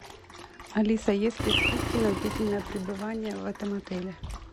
алиса есть ли скидки на длительное пребывание в этом отеле